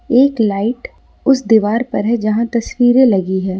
एक लाइट उस दीवार पर है जहां तस्वीरें लगी है।